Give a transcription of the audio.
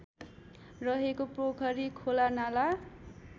रहेको पोखरी खोलानाला